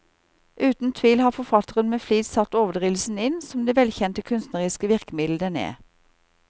Uten tvil har forfatteren med flid satt overdrivelsen inn, som det velkjente kunstneriske virkemiddel den er.